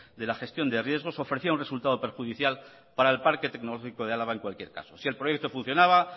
de la gestión de riesgos ofrecía un resultado perjudicial para el parque tecnológico de álava en cualquier caso si el proyecto funcionaba